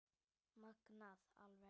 Magnað alveg